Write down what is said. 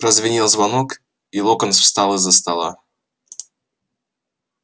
прозвенел звонок и локонс встал из-за стола